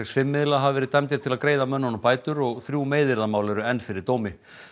fimm miðla hafa verið dæmdir til að greiða mönnunum bætur og þrjú meiðyrðamál eru enn fyrir dómi